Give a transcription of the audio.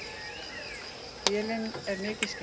Vélin er mikið skemmd.